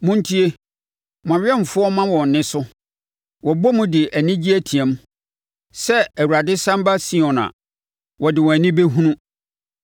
Montie! Mo awɛmfoɔ ma wɔn nne so; wɔbɔ mu de anigye team. Sɛ Awurade sane ba Sion a, wɔde wɔn ani bɛhunu.